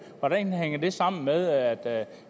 hvordan hænger det sammen med at